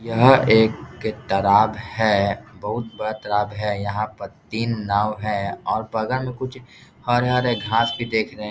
यह एक तालाब है बहुत बड़ा तालाब है यहाँ पर तीन नाव है और बगल में कुछ हरे-हरे घास भी देख रहे --